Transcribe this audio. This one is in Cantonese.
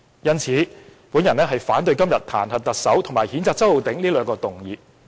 因此，我反對今天彈劾特首和譴責周浩鼎議員這兩項議案。